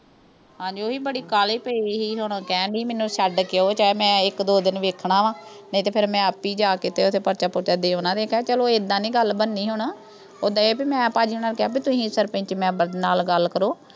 ਹਾਂਜੀ, ਉਹ ਵੀ ਬੜੀ ਕਾਹਲੀ ਪਈ ਹੋਈ ਸੀ, ਹੁਣ ਕਹਿਣ ਡਈ ਸੀ ਵੀ ਮੈਨੂੰ ਛੱਡ ਕੇ ਆਓ, ਚਾਹੇ ਮੈਂ ਇੱਕ-ਦੋ ਦਿਨ ਵੇਖਣਾ ਵਾ। ਨਹੀਂ ਤੇ ਫਿਰ ਮੈਂ ਆਪ ਹੀ ਜਾ ਕੇ ਤੇ ਉਥੇ ਪਰਚਾ-ਪਰਚੂ ਦੇ ਦੇਣਾ। ਉਨ੍ਹਾਂ ਨੇ ਕਿਹਾ ਚਲ ਏਦਾਂ ਨੀਂ ਗੱਲ ਬਣਨੀ ਹੁਣ। ਏਦਾਂ ਇਹ ਵੀ ਮੈਂ ਭਾਜੀ ਹੋਣਾਂ ਨੂੰ ਕਿਹਾ ਵੀ ਤੁਸੀਂ ਸਰਪੰਚ member ਨਾਲ ਗੱਲ ਕਰੋ।